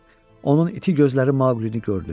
Onun iti gözləri Maqqlini gördü.